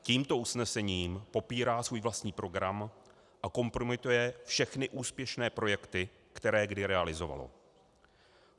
Tímto usnesením popírá svůj vlastní program a kompromituje všechny úspěšné projekty, které kdy realizovalo.